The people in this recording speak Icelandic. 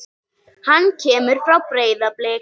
Hann kemur frá Breiðabliki.